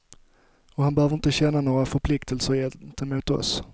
Och han behöver inte känna några förpliktelser gentemot oss.